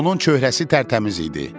Onun çöhrəsi tərtəmiz idi.